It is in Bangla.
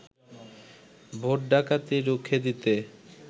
ভোট ডাকাতি রুখে দিতে